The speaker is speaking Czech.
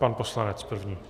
Pan poslanec první.